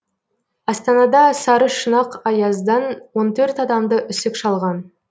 астанада сарышұнақ аяздан он төрт адамды үсік шалған